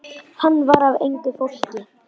Hann var af engu fólki.